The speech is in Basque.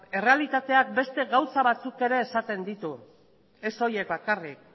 errealitateak beste gauza batzuk ere esaten ditu ez horiek bakarrik